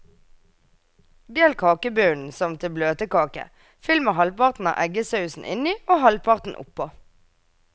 Del kakebunnen som til bløtkake, fyll med halvparten av eggesausen inni og halvparten oppå.